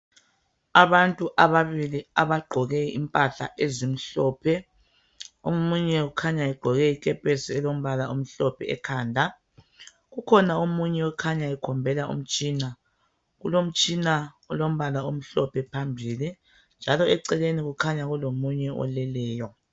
Abantu ababili abagqoke impahla ezimhlophe , omunye ukhanya egqoke ikepesi elombala omhlophe ekhanda , kukhona omunye okhanya ekhombela umtshina , kulomtshina olombala omhlophe phambili njalo eceleni kukhanya kulomunye oleleyo